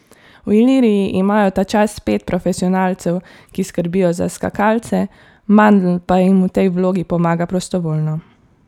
V Iliriji imajo tačas pet profesionalcev, ki skrbijo za skakalce, Mandl pa jim v tej vlogi pomaga prostovoljno.